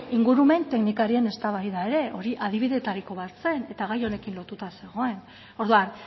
ingurumen teknikarien eztabaida ere hori adibideetariko bat zen eta gai honekin lotuta zegoen orduan